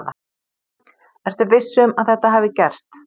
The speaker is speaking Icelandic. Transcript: Ertu viss um að þetta hafi gerst?